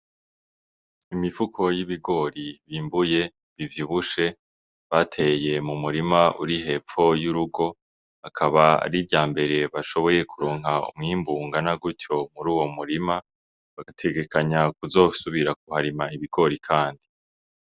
Imifuko y'ibigori vyimbuye bivyibushe bateye mu murima uri hepfo y'urugo Akaba ar'iryambere bashoboye kuronka umwimbu ungana gutyo mur'uwo murima, bategekanya kuzosubira kuharima ibigori kandi.